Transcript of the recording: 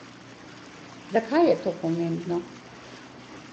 Zakaj je to pomembno?